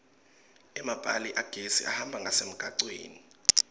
emapali agesi ahamba ngasemgwaceni